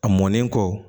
A mɔnen kɔ